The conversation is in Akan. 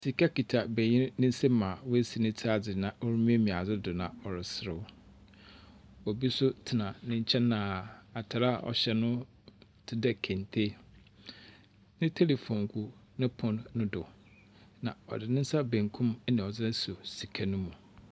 Sika kita benyin ne nsam a woesi ne tsir adze na ɔremiamia adze do na ɔreserew. Obi nso tsena ne nkyɛn a atar a ɔhyɛ no tse dɛ kente. Ne telephone gu ne pon no do, na ɔde ne nsa benku na ɔdze asɔ sika no mu.